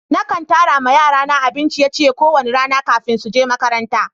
Na kan tara ma yara na abin ciye-ciye ko wani rana kafin su je makaranta.